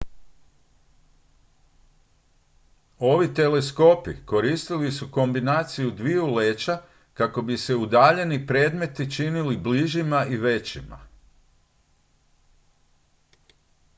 ovi teleskopi koristili su kombinaciju dviju leća kako bi se udaljeni predmeti činili bližima i većima